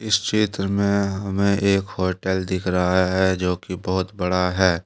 इस चित्र में हमें एक होटल दिख रहा है जो कि बहुत बड़ा है।